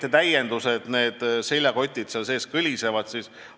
Te rääkisite nendest seljakottidest ja sellest, mis seal kõliseb.